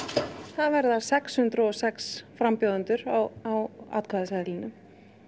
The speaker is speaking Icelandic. það verða sex hundruð og sex frambjóðendur á atkvæðaseðlinum